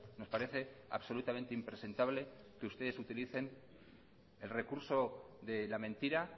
nos parece absolutamente impresentable que ustedes utilicen el recurso de la mentira